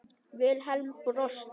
Vilhelm brosti.